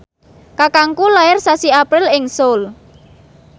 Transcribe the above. kakangku lair sasi April ing Seoul